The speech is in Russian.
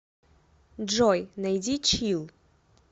джой найди чилл